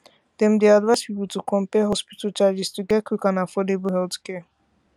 dem dey advise people to compare hospital charges to get quick and affordable healthcare